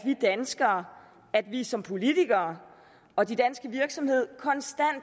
at vi som politikere og de danske virksomheder konstant